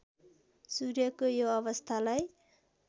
सूर्यको यो अवस्थालाई